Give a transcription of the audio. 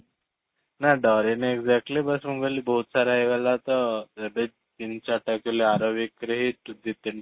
ନା ଡ଼ରିନି exactly ବାସ ମୁଁ କହିଲି ବହୁତ ସାରା ହେଇଗଲା ତ ତିନି ଚାରି ଟା actually ଆର week ରେ ହିଁ ଦୁଇ ତିନି